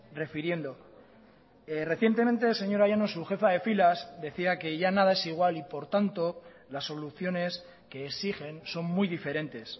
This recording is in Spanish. refiriendo recientemente señora llanos su jefa de filas decía que ya nada es igual y por tanto las soluciones que exigen son muy diferentes